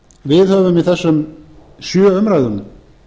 við höfum í þessum sjö umræðum